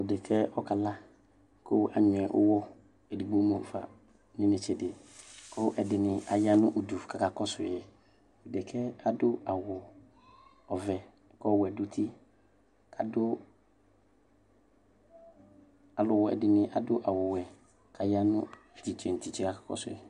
Dekɛ ɔkala kʋ anyuɛ ʋwɔ edigbo mʋfa nʋ inetsedi kʋ ɛdini ayanʋ ʋdʋ kakɔsʋ yi dekɛ adʋ awʋ ɔvɛ kʋ ɔvɛ dʋ uti kʋ alʋwɛ dinina adʋ awʋwɛ kʋ yanʋ titse nʋ titse kakɔsʋ yɩ